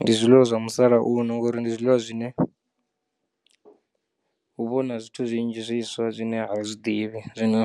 Ndi zwiḽiwa zwa musalauno ngori ndi zwiḽiwa zwine hu vhona zwithu zwinzhi zwiswa zwine a vha zwiḓivhi zwino